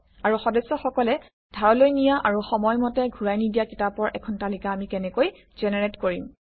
আৰু সদস্যসকলে ধাৰলৈ নিয়া আৰু সময় মতে ঘূৰাই নিদিয়া কিতাপৰ এখন তালিকা আমি কেনেকৈ জেনেৰেট কৰিম